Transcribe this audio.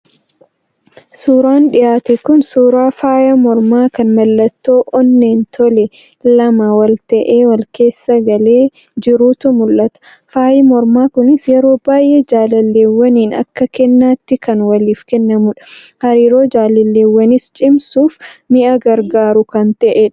Suuraan dhiyaate kun suuraa faaya mormaa kan mallattoo onneen tolee, lama ta'ee wal-keessa galee jiruutu mul'ata. Faayi mormaa kunis yeroo baay'ee jaalalleewwaniin akka kennaatti kan waliif kennamudha. Hariiroo jaalalleewwaniis cimsuuf mi'a gargaaru kan ta'edha.